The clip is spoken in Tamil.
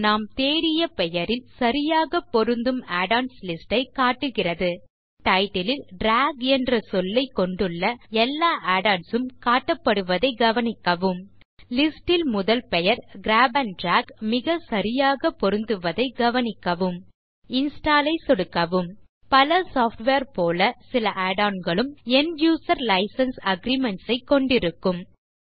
நாம் தேடிய பெயரில் சரியாக பொருந்தும் add ஒன்ஸ் லிஸ்ட் ஐ காட்டுகிறது மேலும் டைட்டில் லில் டிராக் என்ற சொல்லைக் கொண்டுள்ள எல்லா add ஒன்ஸ் உம் காட்டப்படுவதைக் கவனிக்கவும் லிஸ்ட் ல் முதல் பெயர் கிராப் ஆண்ட் டிராக் மிகச்சரியாக பொருந்துவதைக் கவனிக்கவும் இன்ஸ்டால் ஐ சொடுக்கவும் பல சாஃப்ட்வேர் போல சில add onகளும் end யூசர் லைசென்ஸ் அக்ரீமென்ட்ஸ் ஐ கொண்டிருக்கலாம்